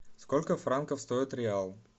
сколько франков стоит реал